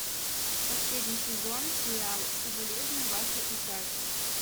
последний сезон сериал соболезную вашей утрате